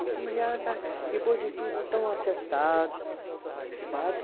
Depois de tudo, tão acertado, sabe?